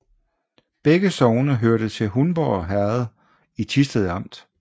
Begge sogne hørte til Hundborg Herred i Thisted Amt